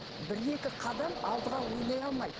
бір екі қадам алдыға ойлай алмайды